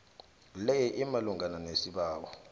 le imalungana nesibawo